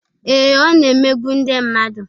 Ee, Ọ na-emegbu ndị mmadụ